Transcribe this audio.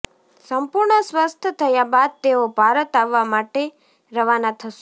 સંપૂર્ણ સ્વસ્થ થયા બાદ તેઓ ભારત આવવા માટે રવાના થશે